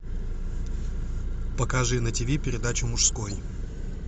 покажи на тв передачу мужской